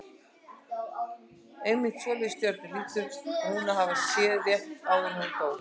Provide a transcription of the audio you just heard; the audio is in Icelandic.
Einmitt svoleiðis stjörnur hlýtur hún að hafa séð rétt áður en hún dó.